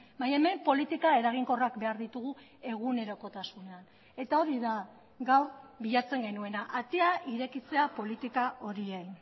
baina hemen politika eraginkorrak behar ditugu egunerokotasunean eta hori da gaur bilatzen genuena atea irekitzea politika horiei